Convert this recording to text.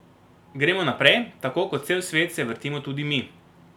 Gremo naprej, tako kot cel svet se vrtimo tudi mi.